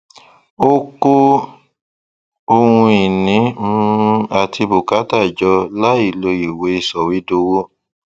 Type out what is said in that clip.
ó kó ohun ìní um àti bùkátà jọ láìlọ ìwé sọwédowó